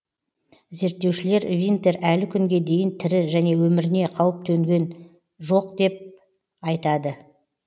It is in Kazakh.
зерттеушілер винтер әлі күнге дейін тірі және өміріне қауіп төнген жоқ деп айтады